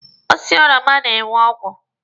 Osiso oroma na-enwe ogwu.